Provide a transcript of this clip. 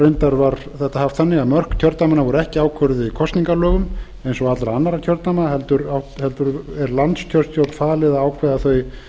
reyndar var þetta haft þannig að mörk kjördæmanna voru ekki ákvörðuð í kosningalögum eins og allra annarra kjördæma heldur er landskjörstjórn falið að ákveða þau